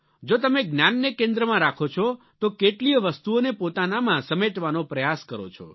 જો તમે જ્ઞાનને કેન્દ્રમાં રાખો છો તો કેટલીયે વસ્તુઓને પોતાનામાં સમેટવાનો પ્રયાસ કરો છો